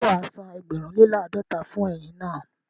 Ṣé wàá san ẹgbẹ̀rún lè làádọ́ta fún ẹyin naa?